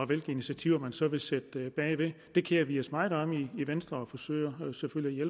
hvilke initiativer man så vil sætte bag det det kerer vi os meget om i venstre og forsøger selvfølgelig at